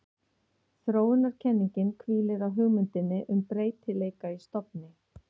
Þróunarkenningin hvílir á hugmyndinni um breytileika í stofni.